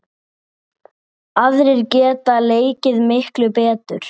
Aðrir geta leikið miklu betur.